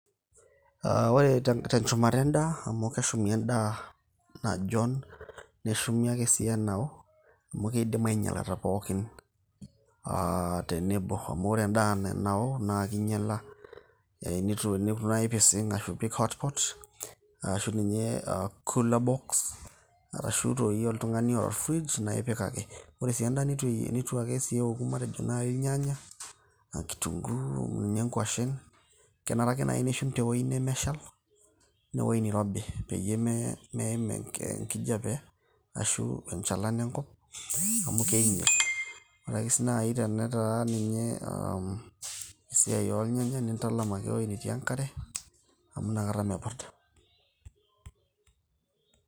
Ore tenchumata endaa amu keshumi endaa najon neshumi ake sii enao amu keidim ainyalata pookin tenebo, amu kore endaa naa keinyala neitu naa ipising', ashu ipik hotpot, ashu ninye coolerbox arashu dei oltung'ani oata olfrij naa ipik ake. Kore sii endaa neitu sii ake eoku matejo naaji ilnyanya, kitunguyu ashu inkwashen kenera ake naai nishum tewueji nemeshal anaa ewueji nairobi peyie meim enkijape arashu enchalan enkop amu keinyal ore ke sii naji naa esiai olnyanya nintalam ewuei netii enkare amu mepurda.